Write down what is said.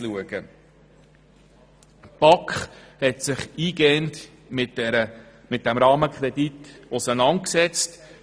Die BaK hat sich eingehend mit diesem Rahmenkredit auseinandergesetzt.